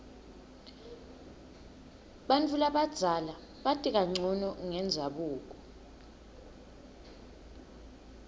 bantfu labadzala bati kancono ngendzabuko